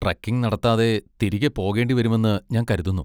Trekking നടത്താതെ തിരികെ പോകേണ്ടിവരുമെന്ന് ഞാൻ കരുതുന്നു.